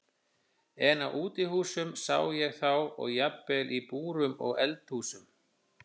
En á útihúsum sá ég þá og jafnvel í búrum og eldhúsum.